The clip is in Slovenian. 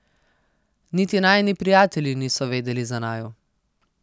Niti najini prijatelji niso vedeli za naju.